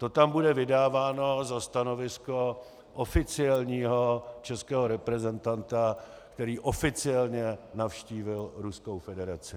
To tam bude vydáváno za stanovisko oficiálního českého reprezentanta, který oficiálně navštívil Ruskou federaci.